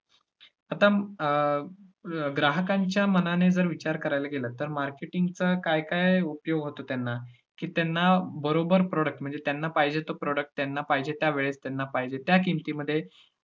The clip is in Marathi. आता अं अं ग्राहकांच्या मनाने जर विचार करायला गेला, तर marketing चा काय काय उपयोग होतो त्यांना की त्यांना बरोबर product म्हणजे त्यांना पाहिजे तो product त्यांना पाहिजे त्या वेळेत त्यांना पाहिजे त्या किंमतीमध्ये